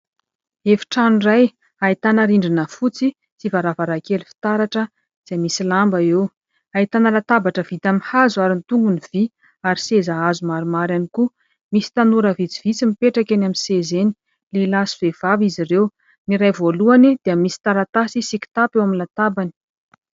Efitrano iray ahitana rindrina fotsy sy varavarankely fitaratra izay misy lamba eo. Ahitana latabatra vita amin'ny hazo ary ny tongony vy ary seza hazo maromaro ary koa misy tanora vitsivitsy mipetraka eny amin'ny sezany ; lehilahy sy vehivavy izy ireo ny iray voalohany dia misy taratasy sy kitapo eo amin'ny latabany.